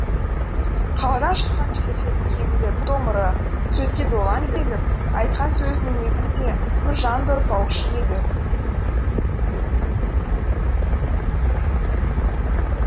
қаладан шыққан жігіттердің кейбіреулері томырық сөзге долаң келіп айтқан сөзін өзі де нұржан да ұқпаушы еді